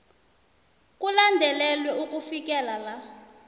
kulandelelwe ukufikela la